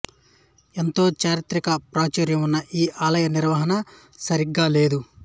ఎంతో చారిత్రిక ప్రాచుర్యం ఉన్న ఈ ఆలయ నిర్వహణ సరిగా లేదు